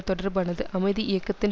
தொடர்பானது அமைதி இயக்கத்தின்